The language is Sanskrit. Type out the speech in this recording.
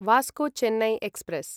Vasco Chennai express